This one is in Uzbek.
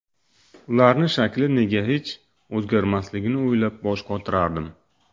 ularni shakli nega hech o‘zgarmasligini o‘ylab bosh qotirardim.